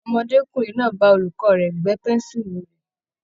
Ọmọdékùnrin náà bá olùkọ́ rẹ̀ gbẹ́ pẹ́ńsùlù rè.